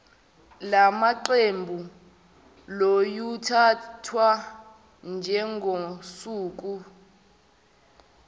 lamaqembu luyothathwa njengosuku